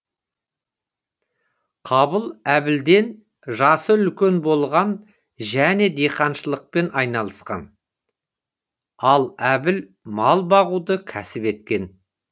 қабыл әбілден жасы үлкен болған және диқаншылықпен айналысқан ал әбіл мал бағуды кәсіп еткен